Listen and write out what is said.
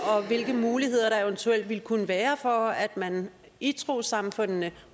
og hvilke muligheder der eventuelt ville kunne være for at man i trossamfundene